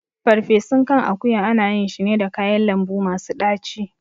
Ferfesun kan akuya ana yin shi ne da kayan lambu masu ɗaci